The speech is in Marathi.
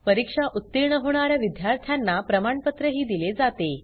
परीक्षा उत्तीर्ण होणा या विद्यार्थ्यांना प्रमाणपत्रही दिले जाते